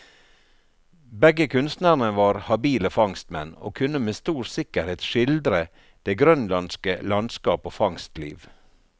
Begge kunstnerne var habile fangstmenn, og kunne med stor sikkerhet skildre det grønlandske landskap og fangstliv.